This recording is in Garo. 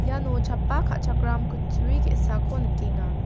iano chappa ka·chakram kutturi ge·sako nikenga.